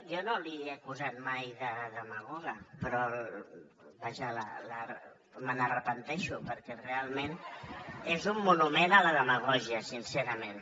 jo no l’he acusat mai de demagoga però vaja me’n penedeixo perquè realment és un monument a la demagògia sincerament